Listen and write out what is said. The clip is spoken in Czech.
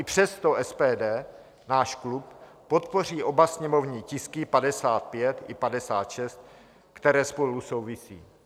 I přesto SPD, náš klub, podpoří oba sněmovní tisky 55 i 56, které spolu souvisejí.